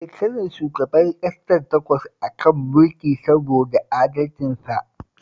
Shekarar shugaban ƙasar takwas a kan mulki saboda adalcinsa